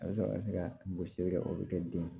Walasa ka se ka gosili kɛ o be kɛ den ye